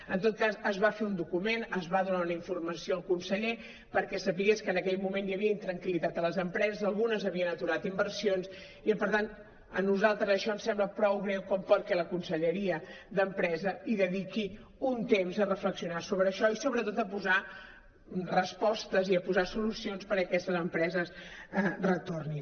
en tot cas es va fer un document es va donar una informació al conseller perquè sabés que en aquell moment hi havia intranquil·litat a les empreses algunes havien aturat inversions i per tant a nosaltres això ens sembla prou greu com perquè la conselleria d’empresa dediqui un temps a reflexionar sobre això i sobretot a posar respostes i a posar solucions perquè aquestes empreses retornin